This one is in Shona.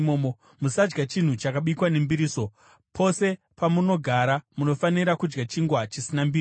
Musadya chinhu chakabikwa nembiriso. Pose pamunogara, munofanira kudya chingwa chisina mbiriso.”